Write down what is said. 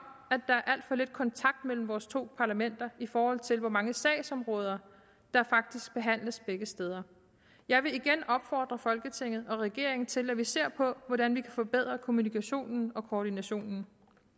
at der er alt for lidt kontakt mellem vores to parlamenter i forhold til hvor mange sagsområder der faktisk behandles begge steder jeg vil igen opfordre folketinget og regeringen til at vi ser på hvordan vi kan forbedre kommunikationen og koordinationen